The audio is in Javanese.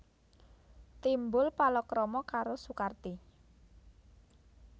Timbul palakrama karo Sukarti